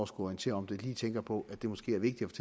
skulle orientere om det lige tænker på at det måske er vigtigt